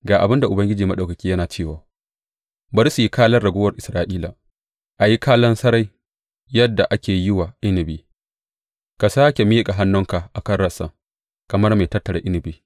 Ga abin da Ubangiji Maɗaukaki yana cewa, Bari su yi kalan raguwar Isra’ila a yi kalan sarai yadda ake yi wa inabi; ka sāke miƙa hannunka a kan rassan, kamar mai tattara inabi.